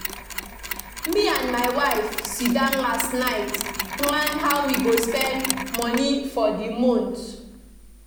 Me and my wife sit down last night plan how we go spend money for the month